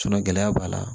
gɛlɛya b'a la